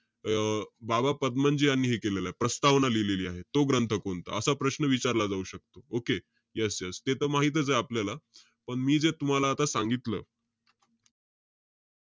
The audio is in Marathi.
अं बाबा पदमनजी यांनी हे केलेलंय. प्रस्तावना लिहिलेलीय. तो ग्रंथ कोणता? असा प्रश्न विचारला जाऊ शकतो. Okay? Yes yes ते त माहीतच आहे आपल्याला. पण, मी जे तुम्हाला आता सांगितलं.